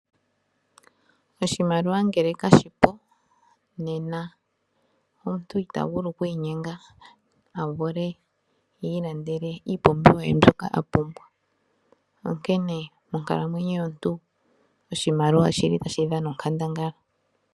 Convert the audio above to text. Oshimaliwa ngele kashipo nena omuntu otavulu oku inyenga avule oku ilandela iipumbiwa ye mbyoka apumbwa onkene monkalamwenyo yomuntu oshimaliwa oshili tashi dhana onkandangala.